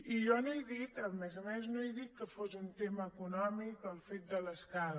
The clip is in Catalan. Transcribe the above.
i jo no he dit a més a més no he dit que fos un tema econòmic el fet de l’escala